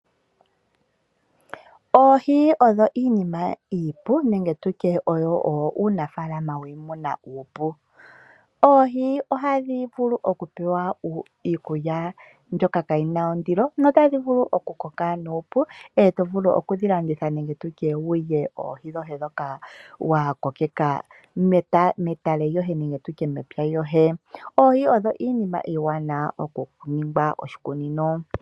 Oohi odho iinima iipu nenge tutye oyo uunafalama wiimuna uupu. Oohi ohadhi vulu okupewa iikulya mbyoka kayi na ondilo notadhi vulu okukoka nuupu eto vulu okudhi landitha nenge wu lye oohi dhoye ndhoka wa kokeka medhiya lyoye nenge tu tye mepya lyoye. Oohi odho iinima iiwanawa okuningwa oshikunino.